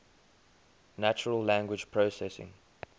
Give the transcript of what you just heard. natural language processing